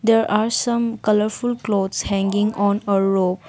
there are some colourful clothes hanging on a rope.